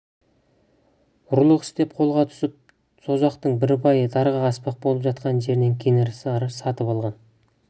ұрлық істеп қолға түсіп созақтың бір байы дарға аспақ болып жатқан жерінен кенесары сатып алған